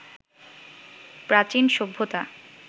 প্রাচীন সভ্যতা